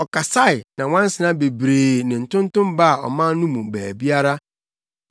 Ɔkasae, na nwansena bebree ne ntontom baa ɔman no mu baabiara.